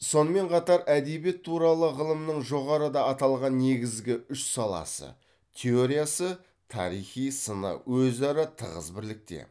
сонымен қатар әдебиет туралы ғылымның жоғарыда аталған негізгі үш саласы теориясы тарихи сыны өзара тығыз бірлікте